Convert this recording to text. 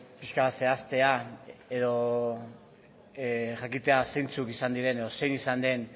pixka bat zehaztea edo jakitea zeintzuk izan diren edo zein izan den